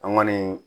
An kɔni